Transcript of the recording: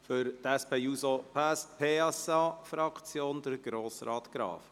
Für die SP-JUSO-PSA-Fraktion spricht Grossrat Graf.